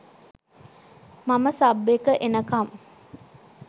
මම සබ් එක එනකම්